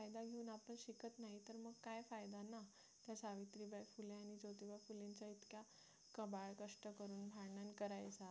कबाळ कष्ट करून भांडण करायचं